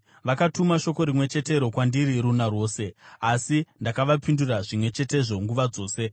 Vakatuma shoko rimwe chetero kwandiri runa rwose, asi ndakavapindura zvimwe chetezvo nguva dzose.